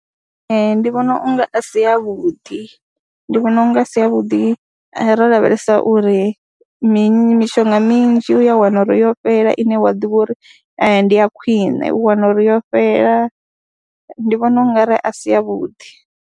Ee, ndi vhona u nga a si avhuḓi, ndi vhona u nga a si avhuḓi ro lavhelesa uri mini mishonga minzhi u ya wana uri yo fhela ine wa ḓivha uri ndi ya khwiṋe, u wana uri yo fhela, ndi vhona ungari a si yavhuḓi.